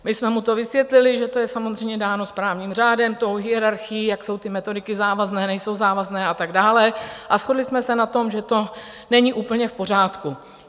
My jsme mu to vysvětlili, že to je samozřejmě dáno správním řádem, tou hierarchií, jak jsou ty metodiky závazné, nejsou závazné a tak dále, a shodli jsme se na tom, že to není úplně v pořádku.